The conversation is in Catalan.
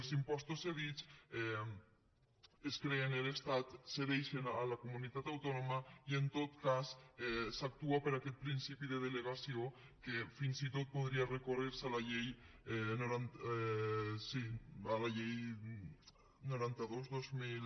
els impostos cedits es creen en l’estat se cedeixen a la comunitat autònoma i en tot cas s’actua per aquest principi de delegació que fins i tot podria recórrer se a la llei noranta dos dos mil